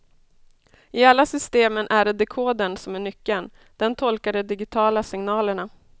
I alla systemen är det dekodern som är nyckeln, den tolkar de digitala signalerna.